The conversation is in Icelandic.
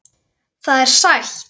Það er sætt.